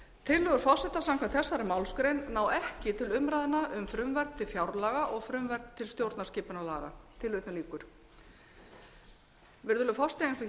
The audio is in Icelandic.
tillögur forseta samkvæmt þessari málsgrein ná ekki til umræðna um frumvörp til fjárlaga og frumvörp til stjórnarskipunarlaga virðulegur forseti eins og